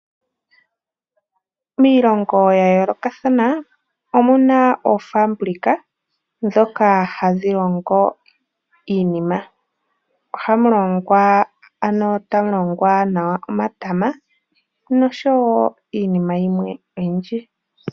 Miilongo ya yoolokathana omu na oofaabulika ndhoka hadhi longo iinima. Ohamu longwa nawa omatama noshowo iinima yimwe oyindji.